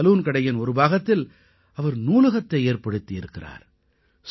தனது சலூன்கடையின் ஒரு பாகத்தில் அவர் நூலகத்தை ஏற்படுத்தி இருக்கிறார்